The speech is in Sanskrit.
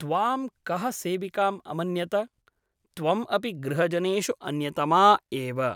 त्वां कः सेविकाम् अमन्यत ? त्वम् अपि गृहजनेषु अन्यतमा एव ।